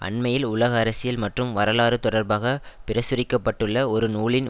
அண்மையில் உலக அரசியல் மற்றும் வரலாறு தொடர்பாக பிரசுரிக்க பட்டுள்ள ஒரு நூலின்